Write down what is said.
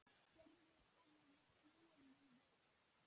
Gerður hafði snúið því við.